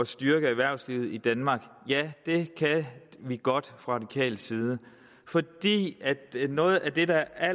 styrke erhvervslivet i danmark ja det kan vi godt fra radikal side fordi noget af det der